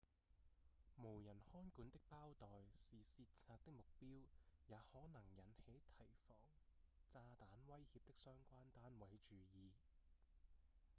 無人看管的包袋是竊賊的目標也可能引起提防炸彈威脅的相關單位注意